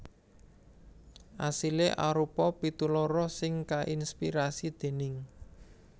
Asilé arupa pitu loro sing kainspirasi déning